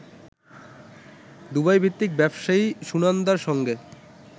দুবাইভিত্তিক ব্যবসায়ী সুনন্দার সঙ্গে